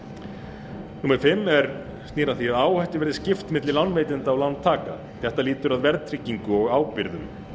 númer fimm snýr að því að áhættu verði skipt milli lánveitenda og lántaka þetta lýtur að verðtryggingu og ábyrgðum